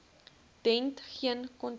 dent geen kontak